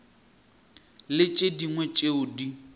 le tše dingwe tšeo di